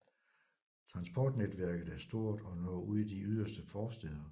Transportnetværket er stort og når ud i de yderste forstæder